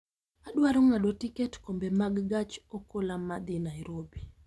Adwaro ng'ado tiket Kombe mag gach okolomadhi nairobi